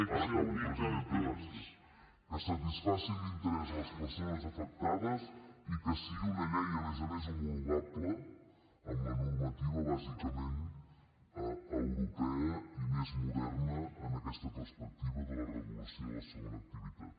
ara acabo presidenta gràcies que satisfaci l’interès de les persones afectades i que sigui una llei a més a més homologable a la normativa bàsicament europea i més moderna en aquesta perspectiva de la regulació de la segona activitat